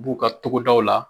U b'u ka togodaw la.